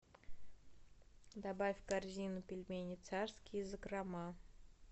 добавь в корзину пельмени царские закрома